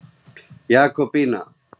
Jakobína